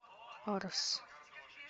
арс